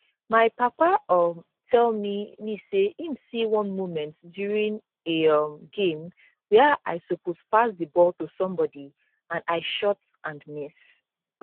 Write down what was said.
my papa um tell me me say im see one moment during a um game wia i suppose pass di ball to somebody and i shot and miss